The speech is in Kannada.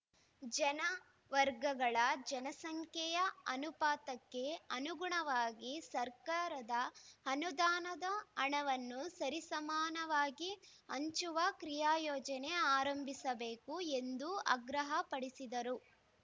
ಜನವರ್ಗಗಳ ಜನಸಂಖ್ಯೆಯ ಅನುಪಾತಕ್ಕೆ ಅನುಗುಣವಾಗಿ ಸರ್ಕಾರದ ಅನುದಾನದ ಹಣವನ್ನು ಸರಿಸಮಾನವಾಗಿ ಹಂಚುವ ಕ್ರಿಯಾಯೋಜನೆ ಆರಂಭಿಸಬೇಕು ಎಂದು ಆಗ್ರಹಪಡಿಸಿದರು